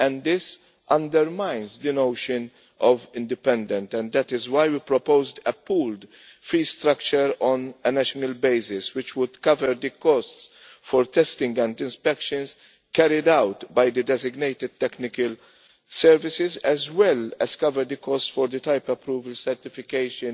This undermines the notion of independent' and that is why we proposed a pooled fee structure on a national basis, which would cover the costs for testing and inspections carried out by the designated technical services, as well as covering the costs for the type approval certification,